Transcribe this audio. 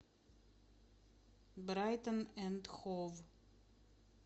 брайтон энд хов